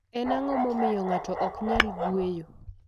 Eni anig'o mamiyo nig'ato ok niyal nig'weyo?